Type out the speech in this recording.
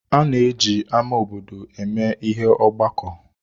Ana eji ámá obodo eme ihe ọgbakọ.